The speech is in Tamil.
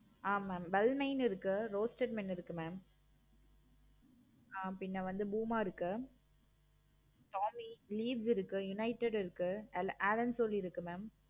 ஆஹ் mam well nine இருக்கு mam பின்ன வந்து bloom ஆஹ் இருக்கு. இருக்கு. unitted இருக்கு. இருக்கு mam